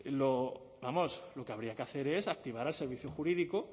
vamos lo que habría que hacer es activar el servicio jurídico